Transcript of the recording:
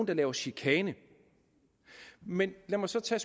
der laver chikane men lad mig så tage